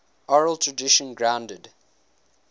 oral tradition grounded